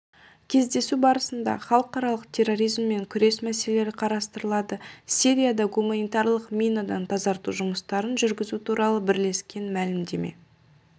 кездесу барысында халықаралық терроризммен күрес мәселелері қарастырылады сирияда гуманитарлық минадан тазарту жұмыстарын жүргізу туралы бірлескен мәлімдеме